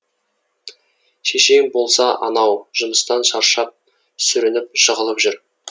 шешең болса анау жұмыстан шаршап сүрініп жығылып жүр